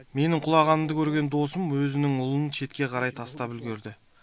менің құлағанымды көрген досым өзінің ұлын шетке қарай тастап үлгерді